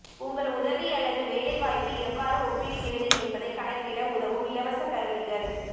உங்கள் உதவி அல்லது வேலை வாய்ப்பு எவ்வாறு ஒப்பிடுகிறது என்பதை கணக்கிட உதவும் இலவச கருவிகள்